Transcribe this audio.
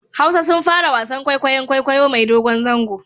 Hausa sun fara wasan kwaikwayon kwaikwayo mai dogon zango